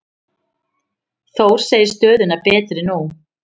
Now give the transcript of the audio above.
Þór segir stöðuna betri nú.